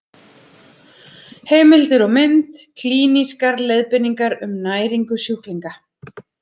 Heimildir og mynd: Klínískar leiðbeiningar um næringu sjúklinga.